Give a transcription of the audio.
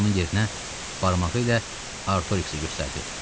Qoy onun yerinə, barmağı ilə Artoriksi göstərdi.